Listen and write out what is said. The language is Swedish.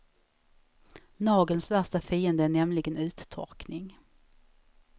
Nagelns värsta fiende är nämligen uttorkning.